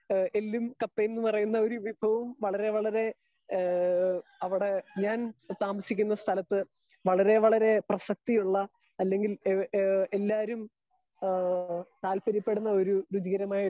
speaker 2 എല്ലും കപ്പയും എന്ന് പറയുന്ന വിഭവവും വളരെ വളരെ ഹേ അവിടെ ഞാൻ താമസിക്കുന്ന സ്ഥലത്ത് വളരെ വളരെ പ്രസക്തിയുള്ള അല്ലെങ്കി ഏ എല്ലരും ഏഹ് താല്പര്യപെടുന്ന ഒര് രുചികരമായ